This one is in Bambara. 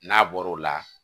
N'a bɔr'o la